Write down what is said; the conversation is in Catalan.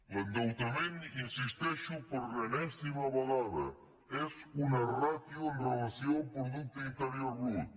l’endeutament hi insisteixo per enèsima vegada és una ràtio amb relació al producte interior brut